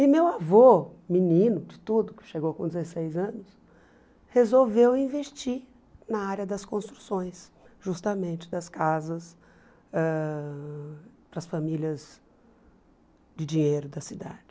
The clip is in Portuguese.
E meu avô, menino de tudo, que chegou com dezesseis anos, resolveu investir na área das construções, justamente das casas, ãh para as famílias de dinheiro da cidade.